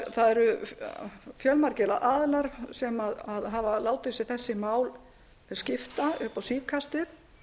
það eru fjölmargir aðilar sem hafa látið sig þessi mál skipta upp á síðkastið